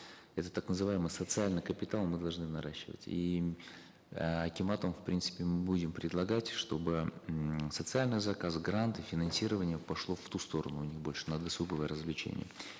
это так называемый социальный капитал мы должны наращивать и эээ акиматам в принципе будем предлагать чтобы м социальные заказы гранты финансирование пошло в ту сторону а не больше на досуговое развлечение